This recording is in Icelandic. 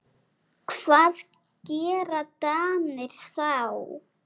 Hvað gera Danir þá?